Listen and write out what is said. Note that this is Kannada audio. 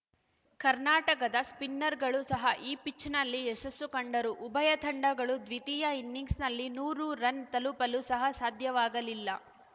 ಕರ್ನಾಟಕದ ಸ್ಪಿನ್ನರ್‌ಗಳು ಸಹ ಈ ಪಿಚ್‌ನಲ್ಲಿ ಯಶಸ್ಸು ಕಂಡರು ಉಭಯ ತಂಡಗಳು ದ್ವಿತೀಯ ಇನ್ನಿಂಗ್ಸ್‌ನಲ್ಲಿ ನೂರು ರನ್‌ ತಲುಪಲು ಸಹ ಸಾಧ್ಯವಾಗಲಿಲ್ಲ